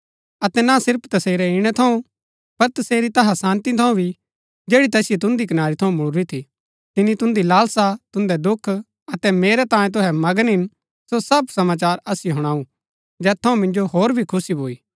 अतै ना सिर्फ तसेरै इणै थऊँ पर तसेरी तैहा शान्ती थऊँ भी जैड़ी तैसिओ तुन्दि कनारी थऊँ मुळूरी थी तिनी तुन्दि लालसा तुन्दै दुख अतै मेरै तांयें तुहै मगन हिन सो सब समाचार असिओ हुणाऊ जैत थऊँ मिन्जो होर भी खुशी भूई